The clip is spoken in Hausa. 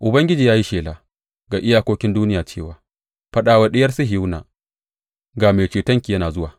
Ubangiji ya yi shela ga iyakokin duniya cewa, Faɗa wa Diyar Sihiyona, Ga Mai Cetonki yana zuwa!